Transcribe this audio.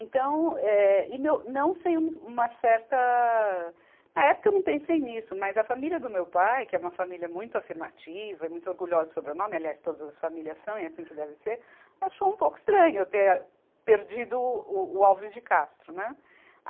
Então, eh e meu, não sem um, uma certa, na época eu não pensei nisso, mas a família do meu pai, que é uma família muito afirmativa e muito orgulhosa sobre o nome, aliás todas as famílias são e é assim que deve ser, achou um pouco estranho eu ter perdido o, o Alves de Castro, né.